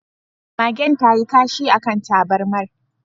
Magen tayi kashi akan tabarmar